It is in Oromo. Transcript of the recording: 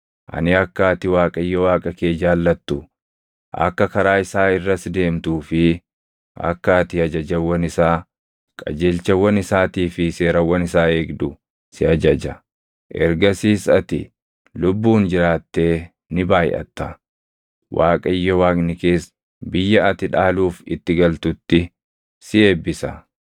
Ani akka ati Waaqayyo Waaqa kee jaallattu, akka karaa isaa irras deemtuu fi akka ati ajajawwan isaa, qajeelchawwan isaatii fi seerawwan isaa eegdu si ajaja; ergasiis ati lubbuun jiraattee ni baayʼatta; Waaqayyo Waaqni kees biyya ati dhaaluuf itti galtutti si eebbisa.